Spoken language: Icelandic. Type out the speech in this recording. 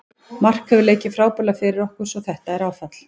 Mark hefur leikið frábærlega fyrir okkur svo þetta er áfall.